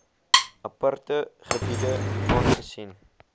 aparte gebiede aangesien